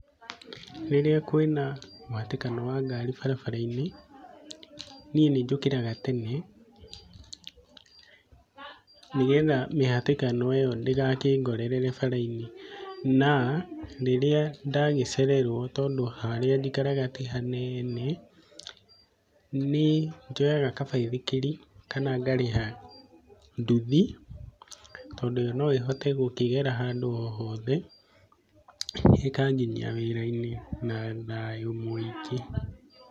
Rĩrĩa kwĩ na mũhatĩkano wa ngari barabara-inĩ, niĩ nĩnjũkĩraga tene nĩgetha mĩhatĩkano ĩyo ndĩgakĩngorere bara-inĩ na rĩrĩa ndagĩcererwo tondũ harĩa njikaraga ti hanene, nĩnjoyaga kabaithikiri kana ngarĩha nduthi tondũ yo noĩhote gũkĩgera handũ o hothe ĩkanginyia wĩra-inĩ na thayũ mũingĩ.